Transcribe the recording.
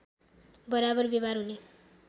बराबर व्यवहार हुने